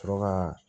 Sɔrɔ ka